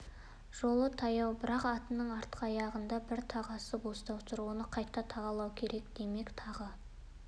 жолы таяу бірақ атының артқы аяғындағы бір тағасы босап тұр оны қайта тағалау керек демек тағы